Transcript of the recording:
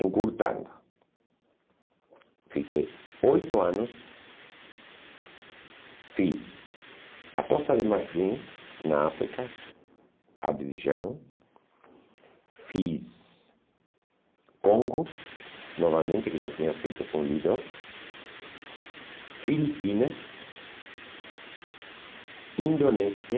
Encurtando, fiquei oito anos, fiz a costa de Marfim, na África, Abidjan, fiz Congo, novamente, que já tinha feito com Lido, Filipinas, Indonésia,